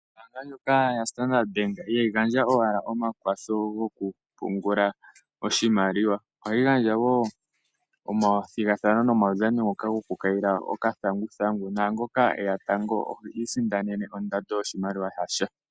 Ombaanga ndjoka ya Standard ihayi gandja owala omakwatho go kupungula oshimaliwa. Ohayi gandja woo omathigathano nomaudhano ngoka goku kayila oka thanguthangu naangoka eya tango ohi isindanena ondando yoshimaliwa .